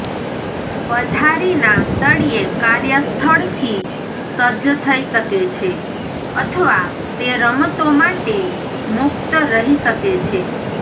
પથારીના તળિયે કાર્યસ્થળથી સજ્જ થઈ શકે છે અથવા તે રમતો માટે મુક્ત રહી શકે છે